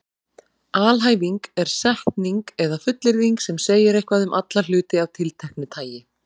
Alhæfing er setning eða fullyrðing sem segir eitthvað um alla hluti af tilteknu tagi.